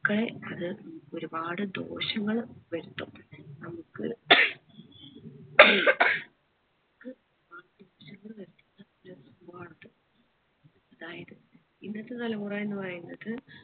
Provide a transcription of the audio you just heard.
ഒക്കെ അത് ഒരുപാട് ദോഷങ്ങൾ വരുത്തും നമ്മുക് നമുക്ക് അതായത് ഇന്നത്തെ തലമുറ എന്ന് പറയുന്നത്